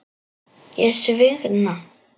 Ég svigna.